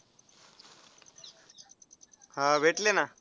हा भेटली ना.